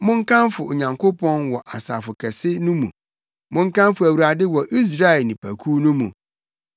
Monkamfo Onyankopɔn wɔ asafo kɛse no mu; monkamfo Awurade wɔ Israel nnipakuw no mu.